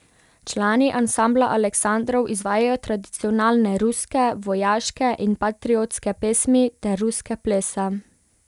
Člani Ansambla Aleksandrov izvajajo tradicionalne ruske, vojaške in patriotske pesmi ter ruske plese.